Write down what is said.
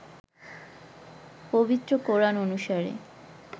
পবিত্র কোরআন অনুসারে